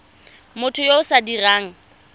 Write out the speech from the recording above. motho yo o sa dirang